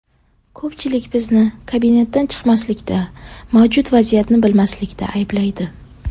Ko‘pchilik bizni kabinetdan chiqmaslikda, mavjud vaziyatni bilmaslikda ayblaydi.